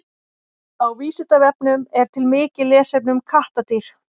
Á Vísindavefnum er til mikið lesefni um kattardýr.